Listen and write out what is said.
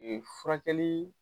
E furakɛli